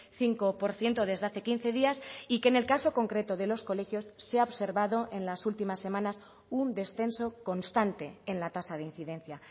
cinco por ciento desde hace quince días y que en el caso concreto de los colegios se ha observado en las últimas semanas un descenso constante en la tasa de incidencia